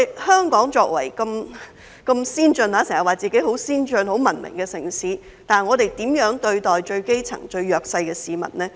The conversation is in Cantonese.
香港經常自稱為很先進、很文明的城市，但我們如何對待最基層、最弱勢的市民呢？